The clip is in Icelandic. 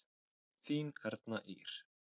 Þín Erna Ýr.